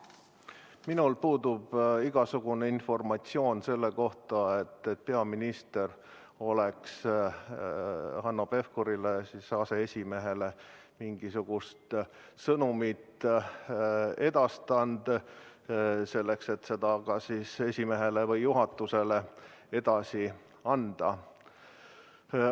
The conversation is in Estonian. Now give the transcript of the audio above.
Minul puudub igasugune informatsioon selle kohta, et peaminister on Hanno Pevkurile, aseesimehele, edastanud mingisuguse sõnumi, selleks et see kas esimehele või juhatusele edasi anda.